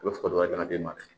U bɛ fo dɔ wɛrɛ la di e ma